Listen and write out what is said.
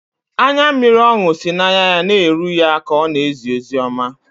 Anya mmiri ọṅụ si n’anya na-eru ya ka ọ na-ezi ozi ọma